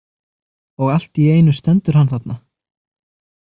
Og allt í einu stendur hann þarna.